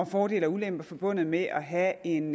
fordele og ulemper forbundet med at have en